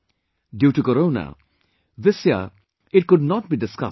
Due to Corona, this year it could not be discussed much